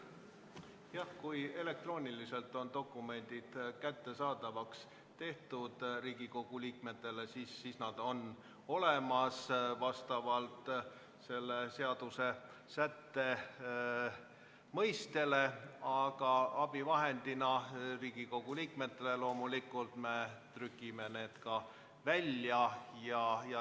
Jah, kui elektrooniliselt on dokumendid Riigikogu liikmetele kättesaadavaks tehtud, siis nad on vastavalt selle seadusesätte mõttele olemas, aga abivahendina Riigikogu liikmetele loomulikult me trükime need ka välja.